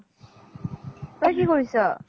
তই কি কৰিছ ?